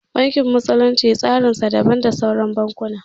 Bankin musulunci tsarin sa daban da sauran bankuna